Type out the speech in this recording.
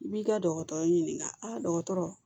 I b'i ka dɔkɔtɔrɔ ɲininka dɔgɔtɔrɔ